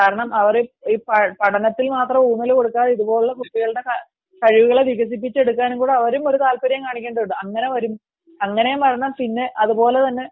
കാരണം അവർ പഠനത്തിന് മാത്രം ഊന്നൽ കൊടുത്താൽ ഇതുപോലുള്ള കുട്ടികളുടെ കഴിവുകളെ വികസിപ്പിച്ചെടുക്കാനും കൂടി അവർ താല്പര്യം കാണിക്കേണ്ടതുണ്ട് അതുപോലെ തന്നെ